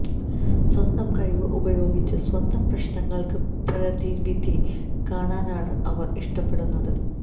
സ്വന്തം കഴിവ് ഉപയോഗിച്ച് സ്വന്തം പ്രശ്നങ്ങൾക്ക് പ്രതിവിധി കാണാനാണ് അവർ ഇഷ്ടപ്പെടുന്നത്